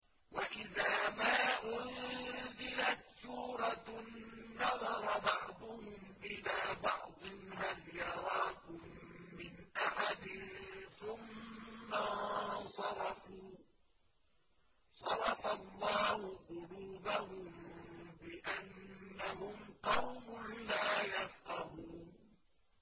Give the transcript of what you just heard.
وَإِذَا مَا أُنزِلَتْ سُورَةٌ نَّظَرَ بَعْضُهُمْ إِلَىٰ بَعْضٍ هَلْ يَرَاكُم مِّنْ أَحَدٍ ثُمَّ انصَرَفُوا ۚ صَرَفَ اللَّهُ قُلُوبَهُم بِأَنَّهُمْ قَوْمٌ لَّا يَفْقَهُونَ